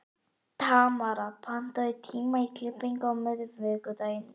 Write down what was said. Tamara, pantaðu tíma í klippingu á miðvikudaginn.